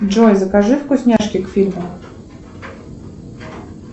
джой закажи вкусняшки к фильму